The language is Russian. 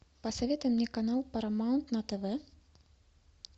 посоветуй мне канал парамаунт на тв